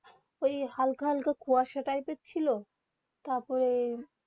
এ হালকা হালকা কুহাস ছিল তার পরে